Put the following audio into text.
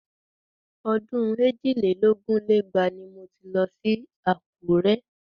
Ọdún èjì lé lógún lé lẹ́gbàá ni mo ti lọ sí Àkúrẹ́